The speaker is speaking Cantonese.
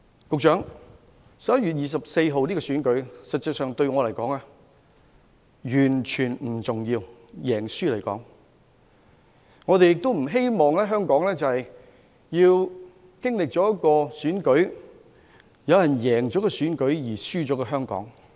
局長 ，11 月24日的選舉結果實際上對我便完全不重要，但亦不希望我們在經歷一場選舉後有人贏了，卻輸了香港。